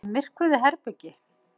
Í myrkvuðu herbergi.